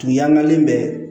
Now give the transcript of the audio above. Kun y'an kalen bɛ